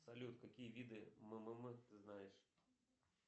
салют какие виды ммм ты знаешь